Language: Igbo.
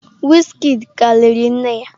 Wizkid ka liri nne ya.